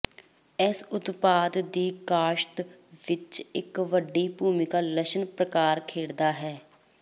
ਇਸ ਉਤਪਾਦ ਦੀ ਕਾਸ਼ਤ ਵਿੱਚ ਇੱਕ ਵੱਡੀ ਭੂਮਿਕਾ ਲਸਣ ਪ੍ਰਕਾਰ ਖੇਡਦਾ ਹੈ